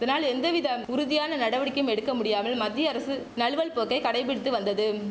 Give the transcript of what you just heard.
இதனால் எந்தவிதம் உறுதியான நடவடிக்கையும் எடுக்க முடியாமல் மத்திய அரசு நழுவல் போக்கை கடைப்பிடித்து வந்ததும்